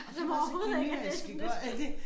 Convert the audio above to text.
Og så kan det altså give mening jeg skal gøre ja det